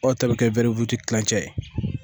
Dɔw ta bɛ kɛ kilancɛ ye